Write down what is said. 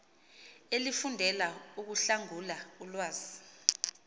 elifundela ukuhlangula ulwazi